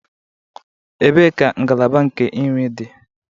Ebee ka ngalaba nke nri dị?